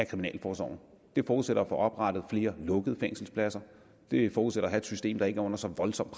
kriminalforsorgen det forudsætter får oprettet flere lukkede fængselspladser det forudsætter at et system der ikke er under så voldsomt